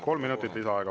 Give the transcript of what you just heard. Kolm minutit lisaaega.